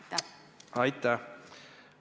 Aitäh!